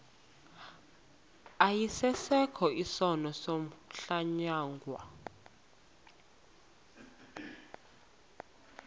asiyeke sono smgohlwaywanga